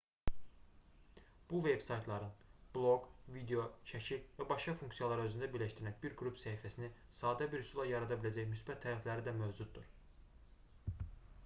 bu veb-saytların bloq video şəkil və başqa funksiyaları özündə birləşdirən bir qrup səhifəsini sadə bir üsulla yarada biləcək müsbət tərəfləri də mövcuddur